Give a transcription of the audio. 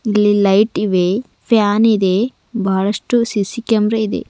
ಇಲ್ಲಿ ಲೈಟ್ ಇವೆ ಫ್ಯಾನ್ ಇದೆ ಬಹಳಷ್ಟು ಸಿ_ಸಿ ಕ್ಯಾಮೆರಾ ಇದೆ.